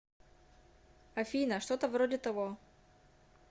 афина что то вроде того